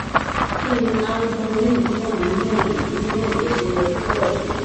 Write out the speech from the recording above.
kini ni albumin tó wà nínú ẹjẹ nínú ẹjẹ ṣe ye ko pọ tó